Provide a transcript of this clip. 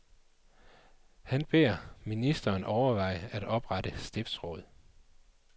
Han beder ministeren overveje at oprette stiftsråd.